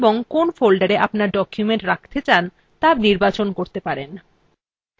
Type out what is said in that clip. এবং কোন folder আপনার document রাখতে চান ত়া বেছে নিতে পারেন